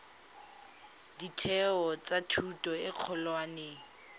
ditheo tsa thuto e kgolwane